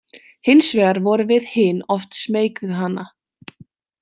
Hins vegar vorum við hin oft smeyk við hana.